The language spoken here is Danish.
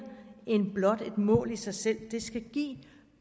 end blot et mål i sig selv det skal give